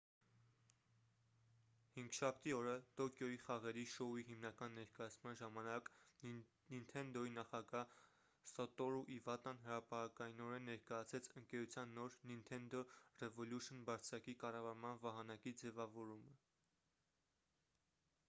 հինգշաբթի օրը տոկիոյի խաղերի շոուի հիմնական ներկայացման ժամանակ նինթենդոյի նախագահ սատորու իվատան հրապարակայնորեն ներկայացրեց ընկերության նոր նինթենդո րեվըլյուշն բարձակի կառավարման վահանակի ձևավորումը